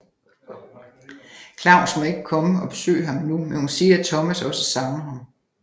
Claus må ikke komme og besøge ham endnu men hun siger at Thomas også savner ham